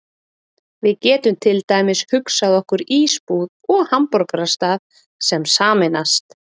Við getum til dæmis hugsað okkur ísbúð og hamborgarastað sem sameinast.